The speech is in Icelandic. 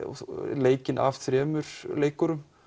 leikinn af þremur leikurum